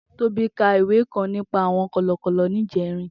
Tobi kà ìwé kãn nipà awọn kọlọkọlọ nijẹrin